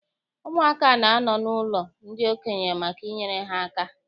Ụmụaka na-anọ n'ụlọ ndị okenye maka inyere ha aka.